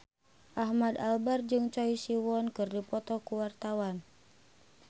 Ahmad Albar jeung Choi Siwon keur dipoto ku wartawan